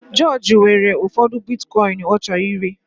George nwere ụfọdụ Bitikoin ọ chọrọ ire